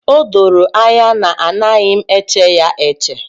O doro anya na anaghị m eche ya eche.